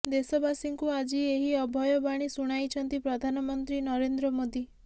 ଦେଶବାସୀଙ୍କୁ ଆଜି ଏହି ଅଭୟବାଣୀ ଶୁଣାଇଛନ୍ତି ପ୍ରଧାନମନ୍ତ୍ରୀ ନରେନ୍ଦ୍ର ମୋଦି